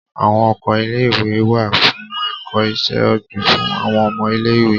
Awọn oko ìlé-ìwé wà fún ẹkọ iṣẹ-ogbin, fún awọn ọmọ ìlé-ìwé